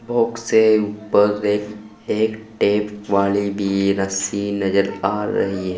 Box से ऊपर एक एक टेप वाली भी रस्सी नजर आ रही है।